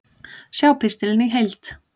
Sjá pistilinn í heild